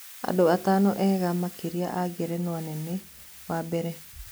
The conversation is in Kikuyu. Andũ atano ega makĩria a Ngerenwa nene, wa mbere: